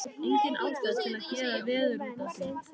Engin ástæða til að gera veður út af því.